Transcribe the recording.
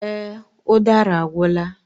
Èè, udara agwụla.